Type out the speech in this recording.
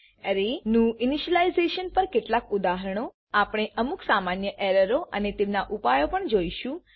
અરેનું initialization પર કેટલાક ઉદાહરણો આપણે અમુક સામાન્ય એરરો અને તેમનાં ઉપાયો પણ જોઈશું